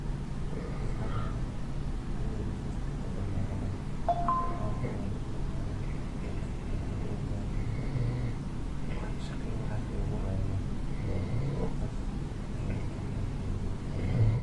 horsocdan sas dadkan manta mejan u tagan yihin.